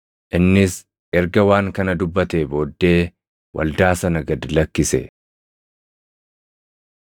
Innis erga waan kana dubbatee booddee waldaa sana gad lakkise.